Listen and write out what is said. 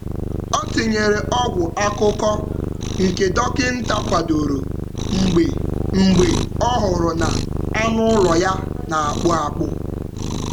Ọ tinyere ọgwụ akụkụ akụkụ nke dọkịta kwadoro mgbe ọ hụrụ na anụ ụlọ ya na-akpụ akpụ.